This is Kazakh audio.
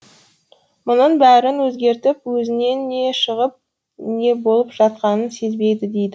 мұның бәрін өзгертіп өзінен не шығып не болып жатқанын сезбейді дейді